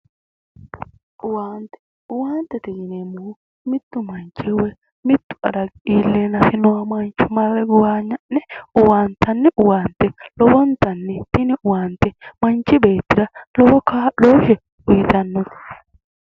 Owaante. owaantete yineemmohu, mittu manchi woyi mittu adagi iilleennasi noo mancho marre gowaanya'nni owaantito lowo geeshsha yini owaante manchi beettira lowo kaa'looshshe uuyiitanno.